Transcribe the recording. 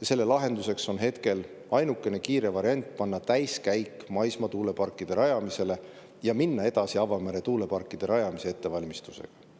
ja selle lahenduseks on hetkel ainukene kiire variant panna täiskäik maismaa tuuleparkide rajamisele ja minna edasi avamere tuuleparkide rajamise ettevalmistusega.